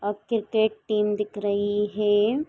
और cricket team दिख रही है।